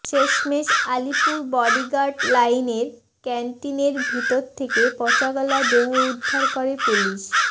শেষমেষ আলিপুর বডিগার্ড লাইনের ক্যান্টিনের ভিতর থেকে পচাগলা দেহ উদ্ধার করে পুলিশ